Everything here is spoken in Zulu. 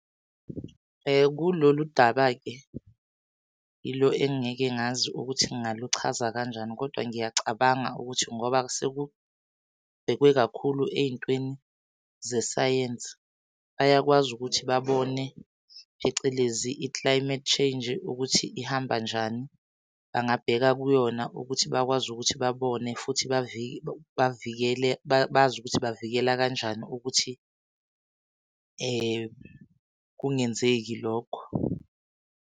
Kulolu daba-ke yilo engingeke ngazi ukuthi ngaluchaza kanjani kodwa ngiyacabanga ukuthi ngoba sekubhekwe kakhulu ey'ntweni zesayensi, bayakwazi ukuthi babone phecelezi i-climate change ukuthi ihamba njani. Bangabheka kuyona ukuthi bakwazi ukuthi babone futhi bavikele, bazi ukuthi bavikela kanjani ukuthi kungenzeki lokho.